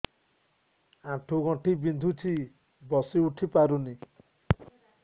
ଆଣ୍ଠୁ ଗଣ୍ଠି ବିନ୍ଧୁଛି ବସିଉଠି ପାରୁନି